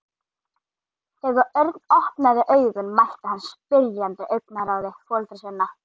Þegar Örn opnaði augun mætti hann spyrjandi augnaráði foreldra sinna.